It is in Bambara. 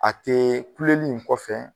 A tee kuleli in kɔfɛ